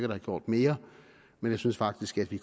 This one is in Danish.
have gjort mere men jeg synes faktisk at vi